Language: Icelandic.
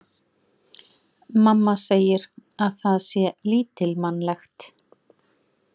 Mamma segir að það sé lítilmannlegt.